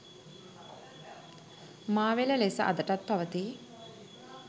මාවෙල ලෙස අදටත් පවතී.